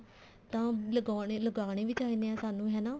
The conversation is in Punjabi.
ਤਾਂ ਲਗਾਉਣੇ ਲਗਾਉਣੇ ਵੀ ਚਾਹੀਦੇ ਨੇ ਸਾਨੂੰ ਹਨਾ